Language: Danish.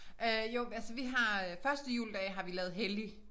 Øh jo altså vi har øh første juledag har vi lavet hellig